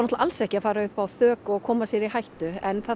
alls ekki að fara upp á þök og koma sér í hættu en það